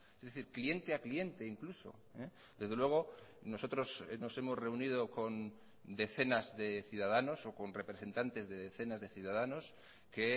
es decir cliente a cliente incluso desde luego nosotros nos hemos reunido con decenas de ciudadanos o con representantes de decenas de ciudadanos que